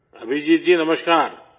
Abhijit ji نمسکار